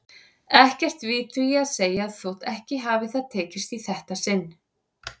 Ekkert við því að segja þótt ekki hafi það tekist í þetta sinn.